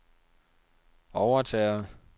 overtager